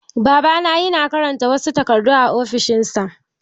Babana yana karanta wasu takardu a ofishin sa.